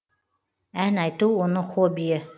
ән айту оның хоббиі